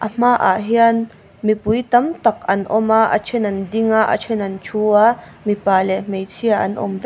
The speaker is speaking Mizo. hmaah hian mipui tam tak an awm a a then an ding a a then an thu a mipa leh hmeichhia an awm vek --